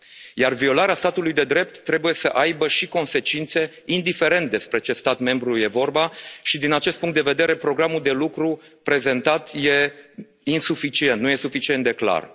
Iar violarea statului de drept trebuie să aibă și consecințe, indiferent despre ce stat membru este vorba și, din acest punct de vedere, programul de lucru prezentat este insuficient, nu este suficient de clar.